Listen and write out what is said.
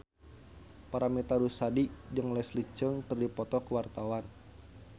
Paramitha Rusady jeung Leslie Cheung keur dipoto ku wartawan